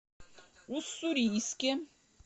уссурийске